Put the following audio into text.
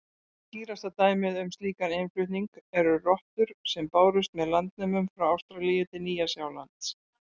Skýrasta dæmið um slíkan innflutning eru rottur sem bárust með landnemum til Ástralíu og Nýja-Sjálands.